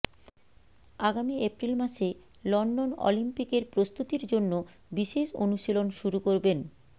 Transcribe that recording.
আগামি এপ্রিল মাসে লন্ডন অলিম্পিকের প্রস্তুতির জন্য বিশেষ অনুশীলন শুরু করবেন